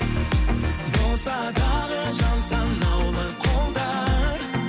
болса дағы жан санаулы қолдар